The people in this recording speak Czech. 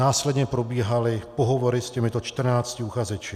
Následně probíhaly pohovory s těmito 14 uchazeči.